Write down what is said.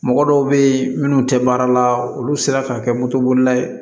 Mɔgɔ dɔw be yen munnu te baara la olu sera ka kɛ moto bolila ye